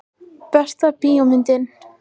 Besta bíómyndin?